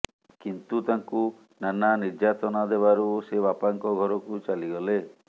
କିନ୍ତୁ ତାଙ୍କୁ ନାନା ନିର୍ଯାତନା ଦେବାରୁ ସେ ବାପାଙ୍କ ଘରକୁ ଚାଲିଗଲେ